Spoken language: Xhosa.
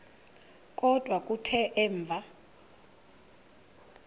kodwa kuthe emva